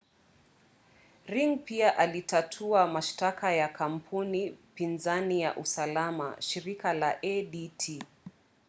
ring pia alitatua mashtaka ya kampuni pinzani ya usalama shirika la adt